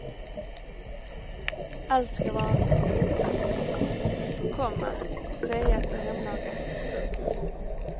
Allt ska vara pyntat, komma fejat och hemlagat. punkt